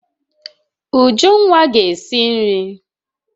Ujunwa ga esi nri